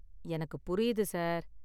எனக்கு புரியுது, சார்.